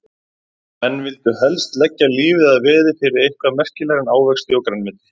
Menn vildu helst leggja lífið að veði fyrir eitthvað merkilegra en ávexti og grænmeti.